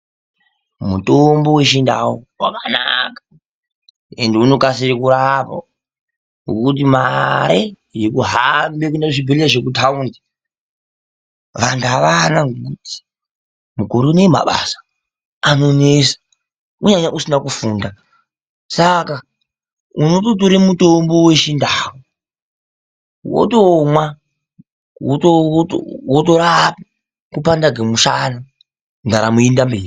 Mutombo wechindau wakanaka ende unokasika kurapa ,ngokuti mare yekuhamba kuenda kuzvibhehleya zvekutaundi vanhu avana ngekuti mukore uno mabasa anonetsa kunyanya usina kufunda ,saka unototore mutombo wechindau wotomwa wotorapa kupanda kwemushana ndaramo yeienda mberi.